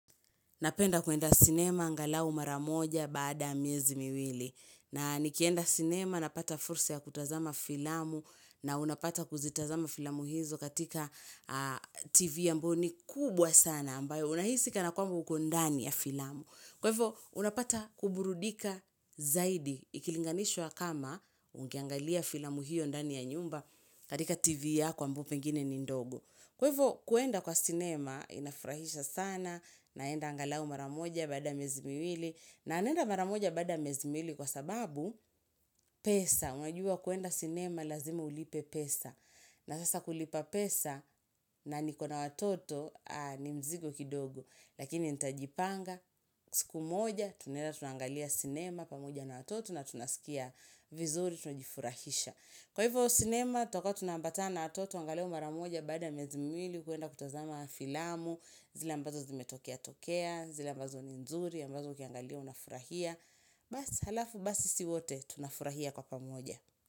Napenda kuenda sinema angalau mara moja baada ya miezi miwili. Na nikienda sinema napata fursa ya kutazama filamu na unapata kuzitazama filamu hizo katika tv ambayo ni kubwa sana ambayo unahisi kana kwamba uko ndani ya filamu. Kwa hivyo unapata kuburudika zaidi ikilinganishwa kama ungeangalia filamu hiyo ndani ya nyumba katika tv yako ambayo pengine ni ndogo. Kwa hivyo kuenda kwa sinema inafurahisha sana naenda angalau mara moja baada miezi miliwi na naenda maramoja baada miezi miliwi kwa sababu pesa. Wajua kuenda sinema lazima ulipe pesa na sasa kulipa pesa na nikona watoto ni mzigo kidogo. Lakini nitajipanga siku moja tunaeda tunaangalia sinema pamoja na watoto na tunasikia vizuri tunajifurahisha. Kwa hivyo sinema, tutakua tunaambatana na watoto, angalau maramoja baada miezi miliwi kuenda kutazama filamu, zile ambazo zimetokea tokea, zile ambazo ni nzuri, ambazo ukiangalia unafurahia, basi halafu basi sisi wote tunafurahia kwa pamoja.